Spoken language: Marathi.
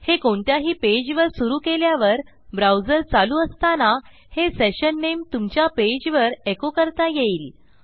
हे कोणत्याही पेजवर सुरू केल्यावर ब्राऊजर चालू असताना हे सेशन नामे तुमच्या पेजवर एको करता येईल